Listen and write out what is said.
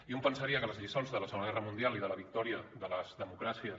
i un pensaria que les lliçons de la segona guerra mundial i de la victòria de les democràcies